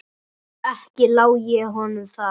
Ekki lái ég honum það.